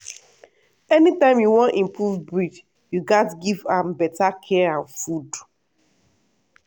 anytime you wan improve breed you gats give am better care and food.